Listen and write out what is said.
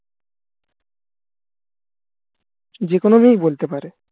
যেকোনো মেয়েই বলতে পারে